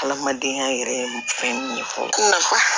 Adamadenya yɛrɛ ye fɛn min ye